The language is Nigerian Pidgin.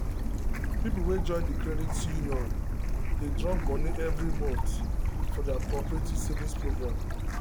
people wey join the credit union dey drop money every month for their cooperative savings program.